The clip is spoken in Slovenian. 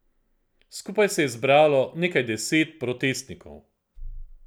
Skupaj se je zbralo nekaj deset protestnikov.